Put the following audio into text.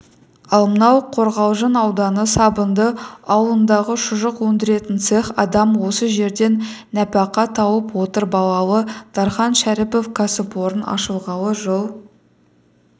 ал мынау қорғалжын ауданы сабынды ауылындағы шұжық өндіретін цех адам осы жерден нәпақа тауып отыр балалы дархан шәріпов кәсіпорын ашылғалы жыл